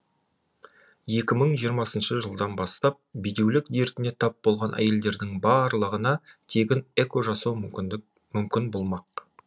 екі мың жиырмасыншы жылдан бастап бедеулік дертіне тап болған әйелдердің барлығына тегін эко жасау мүмкін болмақ